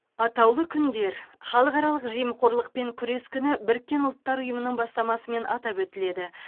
атаулы күндер халықаралық жемқорлықпен күрес күні біріккен ұлттар ұйымының бастамасымен атап өтіледі